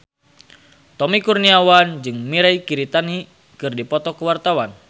Tommy Kurniawan jeung Mirei Kiritani keur dipoto ku wartawan